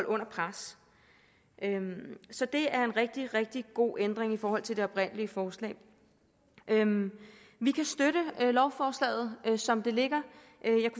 under pres så det er en rigtig rigtig god ændring i forhold til det oprindelige forslag vi kan støtte lovforslaget som det ligger